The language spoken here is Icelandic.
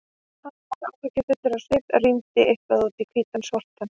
Hann var áhyggjufullur á svip og rýndi eitthvað út í hvítan sortann.